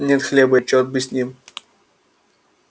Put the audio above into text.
нет хлеба и черт бы с ним